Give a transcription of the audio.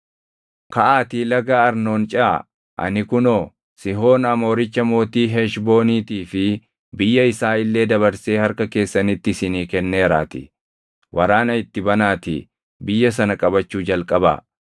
“Kaʼaatii Laga Arnoon ceʼaa; ani kunoo, Sihoon Amooricha mootii Heshbooniitii fi biyya isaa illee dabarsee harka keessanitti isinii kenneeraatii. Waraana itti banaatii biyya sana qabachuu jalqabaa.